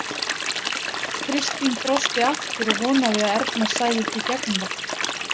Kristín brosti aftur og vonaði að Erna sæi ekki í gegnum það.